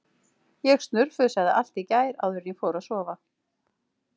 Ég snurfusaði allt í gær áður en ég fór að sofa.